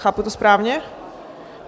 Chápu to správně?